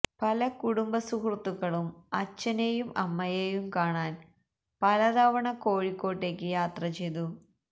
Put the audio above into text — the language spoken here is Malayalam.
പല കുടുംബ സുഹൃത്തക്കളും അച്ഛനെയും അമ്മയെയും കാണാൻ പലതവണ കോഴിക്കോടേക്ക് യാത്ര ചെയ്തു